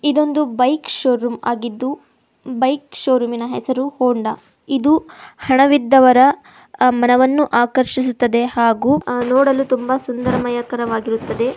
ಇದೊಂದು bike showroom ಆಗಿದ್ದು bike ಶೋರೂಮಿನ ಹೆಸರು ಹೊಂಡ ಇದು ಹಣವಿದ್ದವರ ಅ ಮನವನ್ನು ಆಕರ್ಷಿಸುತ್ತದೆ ಹಾಗು ನೋಡಲು ತುಂಬಾ ಸುಂದರಮಯಕರವಾಗಿರುತ್ತದೆ.